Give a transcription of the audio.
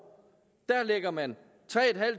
lægger man tre